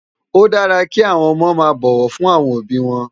Ó dàrá ki áwòn òmò má bòwò fún áwòn óbi wòn